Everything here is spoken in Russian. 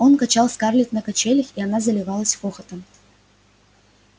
он качал скарлетт на качелях и она заливалась хохотом